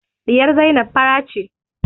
Ɗiyar Zainab fara ce